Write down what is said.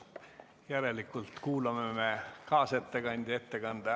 Järelikult kuulame kaasettekandja ettekande ära homme, läheme sealt päevakorraga edasi.